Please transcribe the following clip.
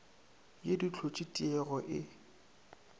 ye di hlotše tiego e